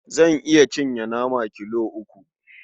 Zan iya cinye nama kilo uku.